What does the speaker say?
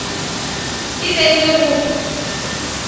e be e le go